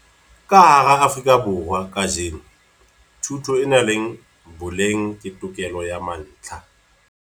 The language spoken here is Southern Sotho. Ka hara Afrika Borwa kajeno, thuto e nang le boleng ke tokelo ya mantlha.